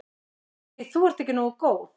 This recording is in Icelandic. Því þú ert ekki nógu góð.